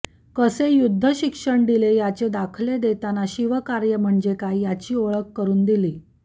कसे युद्ध शिक्षण दिले याचे दाखले देताना शिवकार्य म्हणजे काय याची ओळख करून दिली